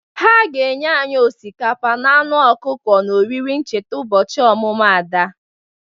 Ha ga-enye anyị osikapa na anụ ọkụkọ n'oriri ncheta ụbọchị ọmụmụ Ada.